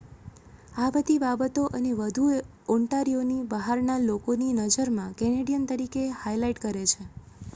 આ બધી બાબતો અને વધુ ઑન્ટારીયોને બહારના લોકોની નજરમાં કેનેડિયન તરીકે હાઇલાઇટ કરે છે